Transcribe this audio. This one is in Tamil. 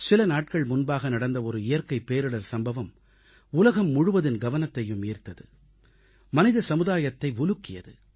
சில நாட்கள் முன்பாக நடந்த இயற்கைப் பேரிடர் சம்பவம் ஒன்று உலகம் முழுவதின் கவனத்தையும் ஈர்த்தது மனித சமுதாயத்தை உலுக்கியது